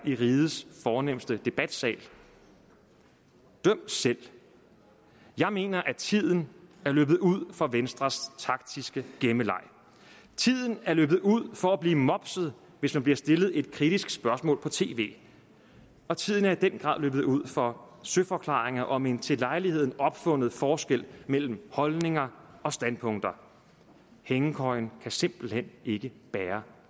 i rigets fornemste debatsal døm selv jeg mener at tiden er løbet ud for venstres taktiske gemmeleg tiden er løbet ud for at blive mopset hvis man bliver stillet et kritisk spørgsmål på tv og tiden er i den grad løbet ud for søforklaringer om en til lejligheden opfundet forskel mellem holdninger og standpunkter hængekøjen kan simpelt hen ikke bære